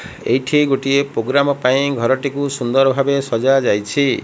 ଏଇଠି ଗୋଟିଏ ପୋଗ୍ରାମ ପାଇଁ ଘରଟିକୁ ସୁନ୍ଦର ଭାବେ ସଜା ଯାଇଛି।